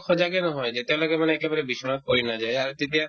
সজাগে নহয় যেতিয়ালৈকে মানে একেবাৰে বিচনাত পৰি নাযায় এই আৰু তেতিয়া